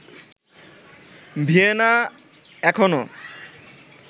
Vienna এখনও